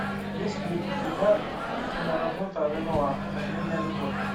есть ли у тебя киноработа ренуар последняя любовь